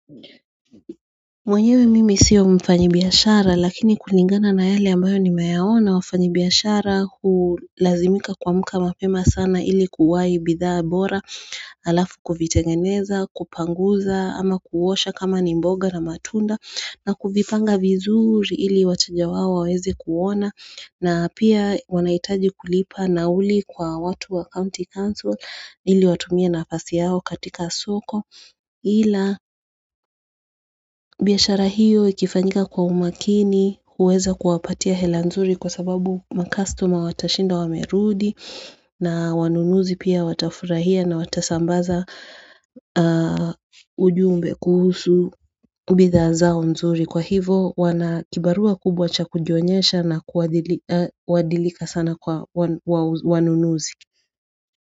Mwenyewe mimi siwa mfanyi biyashara lakini kuningana na yale ambayo nimeyaona wafanyi biyashara kulazimika kwa muka mapema sana ili kuwai bidhaa bora alafu kuvitengeneza kupanguza ama kuuosha kama ni mboga na matunda na kufipanga vizuri ili wachaja waho wawezi kuona na pia wanaitaji kulipa nauli kwa watu wa county council ili watumia na afasi yao katika soko ila biashara hiyo ikifanyika kwa umakini uweza kuwapatia hela nzuri kwa sababu makastuma watashinda wamerudi na wanunuzi pia watafurahia na watasambaza ujumbe kuhusu bidhaa zao nzuri. Kwa hivo wana kibarua kubwa cha kujionyesha na kuadilika sana kwa wanunuzi.